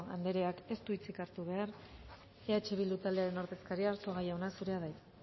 andreak ez dut hartu behar eh bildu talde ordezkaria arzuaga jauna zurea da hitza